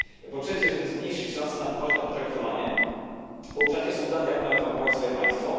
Po trzecie, żeby zmniejszyć szanse na poważne potraktowanie, pouczacie Sudan, jak ma reformować swoje państwo.